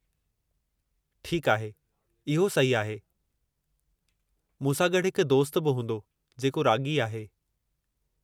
ठीकु आहे, इहो सही आहे। मूं सां गॾु हिकु दोस्तु बि हूंदो जेको राॻी आहे।